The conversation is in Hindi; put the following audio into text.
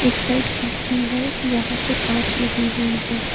एक साइड खिड़की हैं जहां पे कांच लगी हुई हैं।